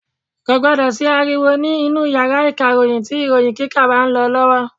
Kò gbọ́dọ̀ sí ariwo ní inú yàrá ìkàròyìn tí ìròyìn kíkà bá lọ lọ́wọ́.